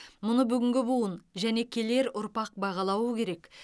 мұны бүгінгі буын және келер ұрпақ бағалауы керек